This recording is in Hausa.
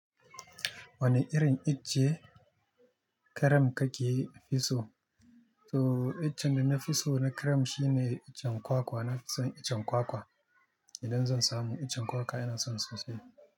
Wanne irin ice cream kake fi so? To iccen dana fiso na cream shine iccen kwakwa, nafi son iccen kwakwa. Idan zan samu iccen kwakwa yana son sosai.